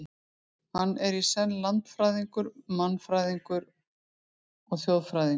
Hann er ekki í senn landfræðingur, mannfræðingur og þjóðfræðingur.